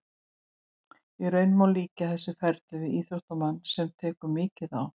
Í raun má líkja þessu ferli við íþróttamann sem tekur mikið á.